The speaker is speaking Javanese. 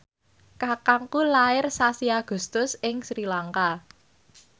kakangku lair sasi Agustus ing Sri Lanka